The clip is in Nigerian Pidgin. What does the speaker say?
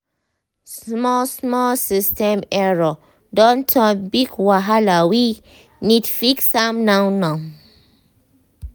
small small system error don turn big wahalawe need fix am now now